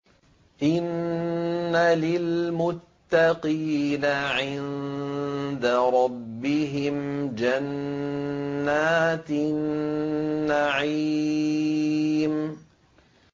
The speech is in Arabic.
إِنَّ لِلْمُتَّقِينَ عِندَ رَبِّهِمْ جَنَّاتِ النَّعِيمِ